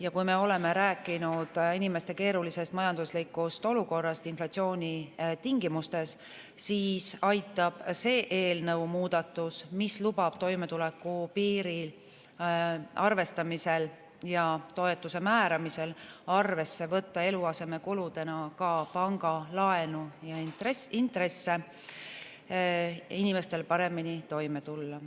Ja kui me oleme rääkinud inimeste keerulisest majanduslikust olukorrast inflatsiooni tingimustes, siis aitab see eelnõu muudatus, mis lubab toimetulekupiiri arvestamisel ja toetuse määramisel arvesse võtta eluasemekuludena ka pangalaenu ja intresse, inimestel paremini toime tulla.